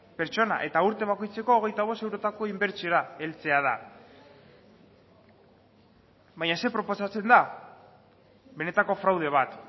pertsona eta urte bakoitzeko hogeita bost eurotako inbertsiora heltzea da baina zer proposatzen da benetako fraude bat